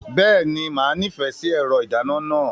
Bẹ́ẹ̀ni, màá nífẹ̀ẹ́ sí ẹ̀rọ ìdáná náà.